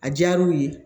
A diyara u ye